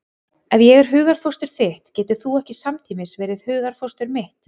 Ef ég er hugarfóstur þitt getur þú ekki samtímis verið hugarfóstur mitt.